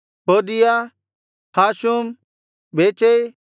ಹೋದೀಯ ಹಾಷುಮ್ ಬೇಚೈ